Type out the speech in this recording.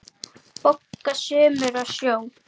BOGGA: Sumir á sjó!